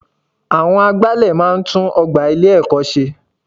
Àwọn agbálẹ̀ máa n tún ogbà ilé ẹ̀kọ́ ṣe